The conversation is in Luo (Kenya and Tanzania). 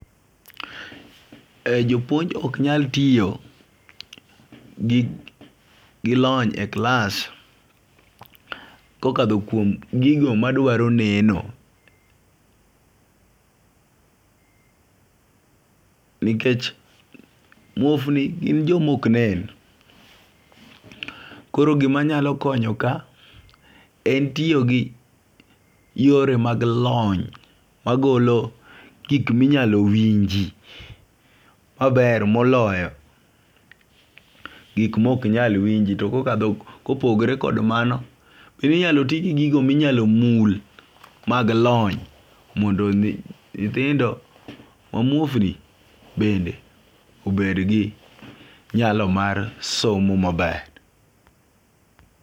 E jopuonj ok nyal tiyo gi lony e klas kokadho kuom gigo madwaro neno. Nikech muofni gin jomok nen. Koro gima nyalo konyo ka en tiyo gi yore mag lony magolo gik minyalo winji maber moloyo gik mok nyal winji to kokadho kopogore kod mano bende inyalo ti gi gigo minyalo mul mag lony mondo nyithindo ma muofni bende obed gi nyalo mar somo maber.